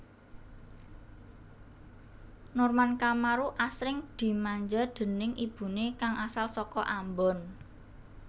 Norman Kamaru asring dimanja déning ibune kang asal saka Ambon